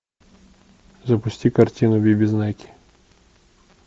запусти картину би би знайки